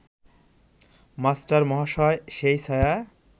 মাস্টারমহাশয় সেই ছায়া